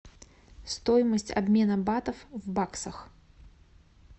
стоимость обмена батов в баксах